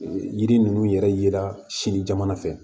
Yiri ninnu yɛrɛ yera sini jamana fɛ